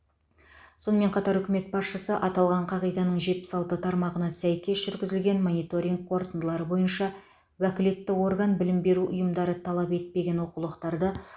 сонымен қатар үкімет басшысы аталған қағиданың жетпіс алты тармағына сәйкес жүргізілген мониторинг қорытындылары бойынша уәкілетті орган білім беру ұйымдары талап етпеген оқулықтарды